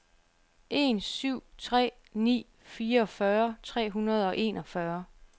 en syv tre ni fireogfyrre tre hundrede og enogfyrre